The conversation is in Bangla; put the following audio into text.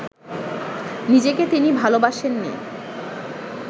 নিজেকে তিনি ভালোবাসেননি